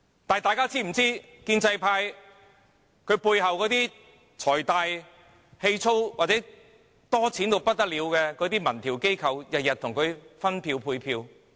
但大家是否知道建制派背後財大氣粗或有錢得很的民調機構每天為他們分票、配票？